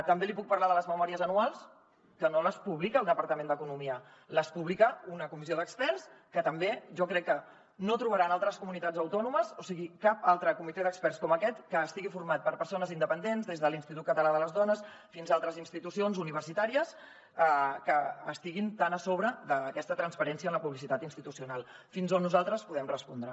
també li puc parlar de les memòries anuals que no les publica el departament d’economia les publica una comissió d’experts que també jo crec que no trobarà en altres comunitats autònomes o sigui cap altre comitè d’experts com aquest que estigui format per persones independents des de l’institut català de les dones fins a altres institucions universitàries que estiguin tan a sobre d’aquesta transparència en la publicitat institucional fins on nosaltres podem respondre